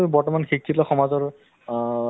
নিশ্চয় নিশ্চয় নিশ্চয়